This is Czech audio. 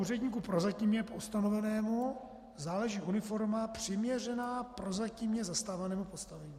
"Úředníku prozatímně ustanovenému náleží uniforma přiměřená prozatímně zastávanému postavení."